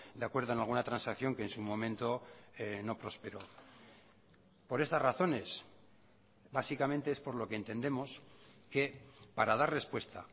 de acuerdo en alguna transacción que en su momento no prosperó por estas razones básicamente es por lo que entendemos que para dar respuesta